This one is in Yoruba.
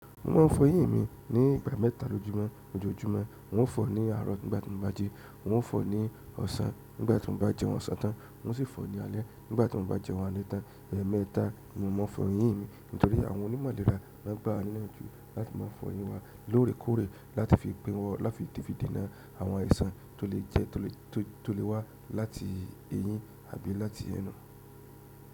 Mo ma ń fọ eyín mi ní ìgbà mẹ́ta lójúmọ́, ojoojúmọ́. N ó fọ̀ ní àárọ̀ nígbà tí mo bá jẹun, n ó fọ̀ ní ọ̀sán nígbà tí mo bá jẹun ọ̀sán tán, n ó sì fọ̀ ní alẹ́ nígbà tí mo bá jẹun alẹ́ tán. Ẹ̀ẹ̀mẹta ni mo máa ń fọ eyín mi nítorí àwọn onímọ̀ ìlera máa ń gbá wa nínà jù láti máa fọ eyín wa lóòrèkóòrè láti fi pín wọ láti fi dìdi náà àwọn aiṣan tó lè jẹ tó lè tó lè wá láti eyín àbí láti ẹnu.